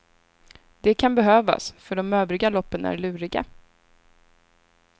Det kan behövas för de övriga loppen är luriga.